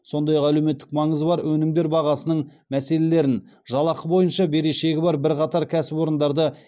сондай ақ әлеуметтік маңызы бар өнімдер бағасының мәселелерін жалақы бойынша берешегі бар бірқатар кәсіпорындарды